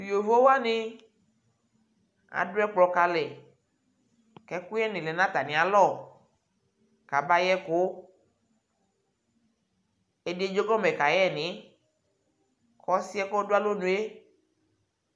Yovowani adʋ ɛkplɔ kalɛ kʋ ɛkuyɛ ni lɛ nʋ atani alɔ kʋ abayɛ ɛkʋ Ɛdι edzegɔmɛ kayɛ nι kʋ ɔsi yɛ kʋ ɔdʋ alonue